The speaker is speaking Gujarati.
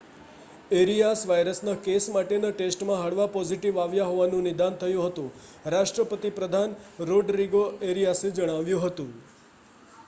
એરિઆસ વાયરસનાં કેસ માટેનાં ટેસ્ટમાં હળવા પોઝિટિવ આવ્યાં હોવાનું નિદાન થયું હતું રાષ્ટ્રપતિ પ્રધાન રોડરિગો એરિયાસે જણાવ્યું હતું